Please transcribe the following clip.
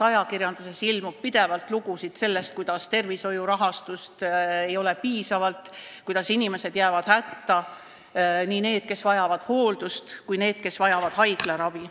Ajakirjanduses ilmub seal pidevalt lugusid sellest, kuidas tervishoiul ei ole piisavalt rahastust, kuidas inimesed jäävad hätta, nii need, kes vajavad hooldust, kui ka need, kes vajavad haiglaravi.